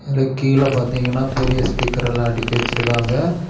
அதல கீழ பாத்தீங்கன்னா பெரிய ஸ்பீக்கர் எல்லா அடிக்கி வெச்சிருக்காங்க.